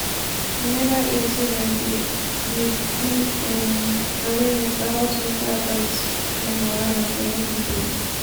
you neva hear sey dem dey dey do um awareness about mental health um wahala for young pipo?